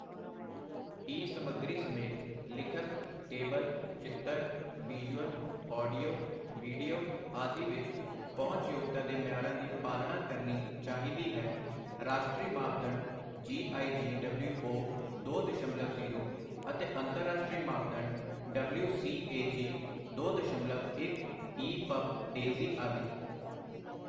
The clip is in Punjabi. ਈ ਸਮੱਗਰੀ ਸਮੇਤ ਲਿਖਤ, ਟੇਬਲ, ਚਿੱਤਰ, ਵਿਜ਼ੂਅਲ, ਆਡੀਓ, ਵੀਡੀਓ ਆਦਿ ਵਿੱਚ ਪਹੁੰਚਯੋਗਤਾ ਦੇ ਮਿਆਰਾਂ ਦੀ ਪਾਲਣਾ ਕਰਨੀ ਚਾਹੀਦੀ ਹੈ, ਰਾਸ਼ਟਰੀ ਮਾਪਦੰਡ ਜੀ ਆਈ ਜੀ ਡਬਲਯੂਊ ਦੋ ਦਸ਼ਮਲਵ ਜੀਰੋ ਅਤੇ ਅੰਤਰਰਾਸ਼ਟਰੀ ਮਾਪਦੰਡ ਡਬਲਯੂ ਸੀ ਏ ਜੀ ਦੋ ਦਸ਼ਮਲਵ ਇਕ ਈ ਪਬ, ਡੇਜ਼ੀ ਆਦਿ